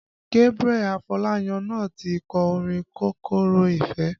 Gabriel Afolayan náà ti kọ orin kòkòrò Ìfẹ́